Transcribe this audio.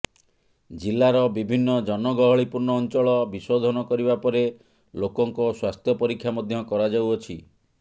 ଜିଲ୍ଲାର ବିଭିନ୍ନ ଜନଗହଳି ପୂର୍ଣ୍ଣ ଅଞ୍ଚଳ ବିଶୋଧନ କରିବା ପରେ ଲୋକଙ୍କ ସ୍ବାସ୍ଥ୍ୟ ପରୀକ୍ଷା ମଧ୍ୟ କରାଯାଉଅଛି